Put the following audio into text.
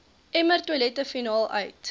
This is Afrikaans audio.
emmertoilette finaal uit